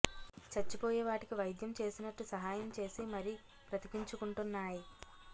చచ్చిపోయే వాటికి వైద్యం చేసినట్టు సహాయం చేసి మరి బ్రతికించుకుంటున్నాయ్